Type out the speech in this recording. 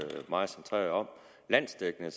meget centreret om landsdækkende